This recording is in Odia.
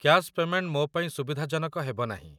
କ୍ୟାଶ୍ ପେମେଣ୍ଟ ମୋ ପାଇଁ ସୁବିଧାଜନକ ହେବ ନାହିଁ।